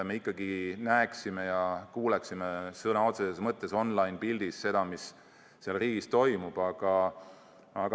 Me ikkagi oleme näinud ja kuulnud sõna otseses mõttes on-line pildis seda, mis seal riigis toimub.